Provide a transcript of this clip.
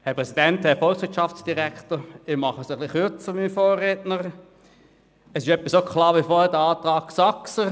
Ich fasse mich kürzer als mein Vorredner, da es ähnlich klar ist wie vorher beim Antrag Saxer.